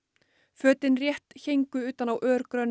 fötin rétt héngu utan á